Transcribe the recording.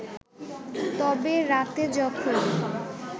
তবে রাতে যখন